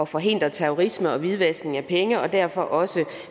forhindre terrorisme og hvidvaskning af penge og derfor også